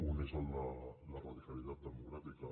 un és el de la radicalitat democràtica